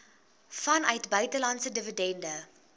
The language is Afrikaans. vanuit buitelandse dividende